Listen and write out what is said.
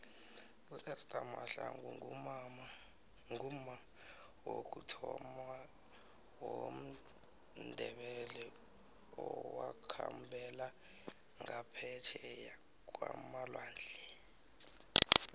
uester mahlangu ngumma wokuthoma womndebele owakhambela ngaphetjheya kwamalwandle